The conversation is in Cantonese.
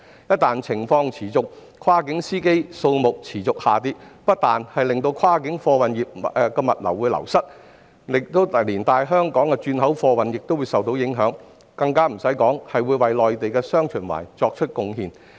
一旦情況持續，跨境司機數目持續下跌，不但跨境貨運業務流失，香港的轉口貨運亦會受到影響，更遑論為內地"雙循環"作出貢獻。